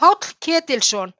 Páll Ketilsson: